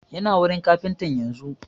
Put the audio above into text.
Yana wurin kafintan yanzun